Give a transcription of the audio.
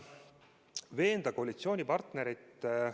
Veenda koalitsioonipartnerit ...